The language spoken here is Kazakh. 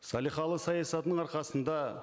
салиқалы саясатының арқасында